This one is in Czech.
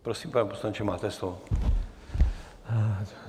Prosím, pane poslanče, máte slovo.